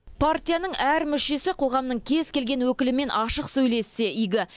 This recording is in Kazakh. партияның әр мүшесі қоғамның кез келген өкілімен ашық сөйлессе игі